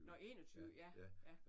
Nåh 21. Ja ja